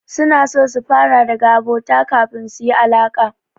Suna so su fara daga abota kafin su yi alaƙa.